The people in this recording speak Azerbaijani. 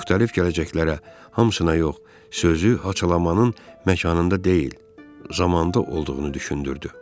Müxtəlif gələcəklərə hamısına yox, sözü haçalamanın məkanında deyil, zamanda olduğunu düşündürdü.